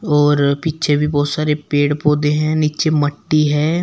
और पीछे भी बहुत सारे पेड़ पौधे हैं नीचे मट्टी है।